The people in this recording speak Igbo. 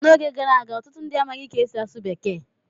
N'oge gara aga, ọtụtụ ndị amaghị ka e si asụ Bekee.